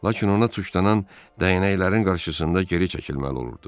Lakin ona tuçlanan dəyənəklərin qarşısında geri çəkilməli olurdu.